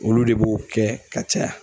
Olu de b'o kɛ ka caya